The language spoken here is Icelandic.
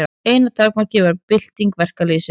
Eina takmarkið var bylting verkalýðsins.